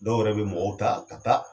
Dɔw yɛrɛ be mɔgɔw ta ka taa